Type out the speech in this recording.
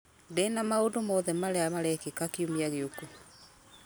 ndĩna maũndũ mothe marĩa marekĩka kiumia gĩũku